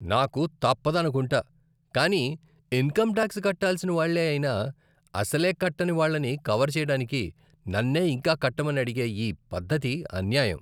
నాకు తప్పదనుకుంటా, కానీ ఇన్కమ్ టాక్స్ కట్టాల్సిన వాళ్ళే అయినా, అసలే కట్టని వాళ్ళని కవర్ చేయడానికి నన్నే ఇంకా కట్టమని అడిగే ఈ పద్ధతి అన్యాయం.